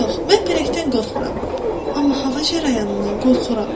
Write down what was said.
Yox, mən pələngdən qorxmuram, amma hava cərəyanından qorxuram.